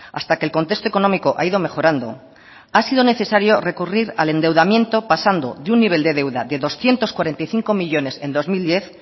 hasta que el contexto económico ha ido mejorando ha sido necesario recurrir al endeudamiento pasando de un nivel de deuda de doscientos cuarenta y cinco millónes en dos mil diez